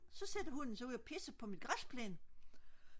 så sætter hunden ude og pisser på min græsplæne